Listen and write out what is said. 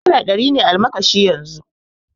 Naira ɗari ne almakashin yanzu